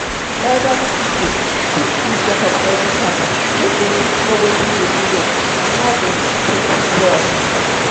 elderly pipu fit do checkup everytime make dem fit know watin dey do dem and how dem fit take quick well.